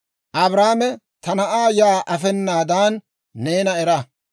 Abrahaame, «Ta na'aa yaa afenaadan neena era!